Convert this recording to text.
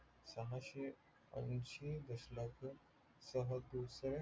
सहाशे येशी दश लक्ष